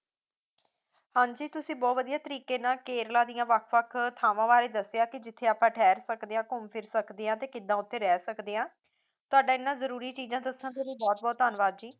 ਹੰਜੀ ਤੁਸੀਂ ਬਹੁਤ ਵਧੀਆ ਤਰੀਕੇ ਨਾਲ ਕੇਰਲਾ ਦੀਆਂ ਵੱਖ ਵੱਖ ਥਾਵਾਂ ਬਾਰੇ ਦੱਸਿਆ ਕਿ ਜਿੱਥੇ ਆਪਾਂ ਠਹਿਰ ਸਕਦੇ ਹਾਂ ਘੂੰਮ ਫਿਰ ਸਕਦੇ ਹਾਂ ਤੇ ਕਿੱਦਾਂ ਓਥੇ ਰਹੀ ਸਕਦੇ ਹਾਂ ਤੁਹਾਡਾ ਇਨ੍ਹਾਂ ਜਰੂਰੀ ਚੀਜ਼ਾਂ ਦੱਸਣ ਬਾਰੇ ਬਹੁਤ ਬਹੁਤ ਧੰਨਵਾਦ ਜੀ